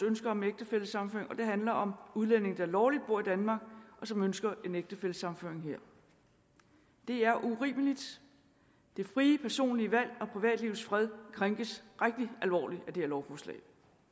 ønske om ægtefællesammenføring og det handler om udlændinge der lovligt bor i danmark og som ønsker en ægtefællesammenføring her det er urimeligt det frie personlige valg og privatlivets fred krænkes rigtig alvorligt af det her lovforslag